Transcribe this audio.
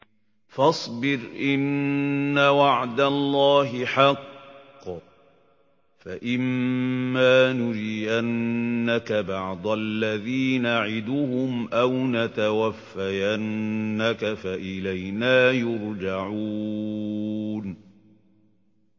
فَاصْبِرْ إِنَّ وَعْدَ اللَّهِ حَقٌّ ۚ فَإِمَّا نُرِيَنَّكَ بَعْضَ الَّذِي نَعِدُهُمْ أَوْ نَتَوَفَّيَنَّكَ فَإِلَيْنَا يُرْجَعُونَ